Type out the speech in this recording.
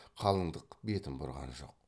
қалындық бетін бұрған жоқ